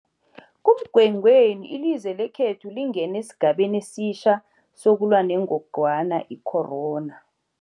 kuMgwengweni ilizwe lekhethu lingene esigabeni esitjha sokulwa nengogwana i-corona.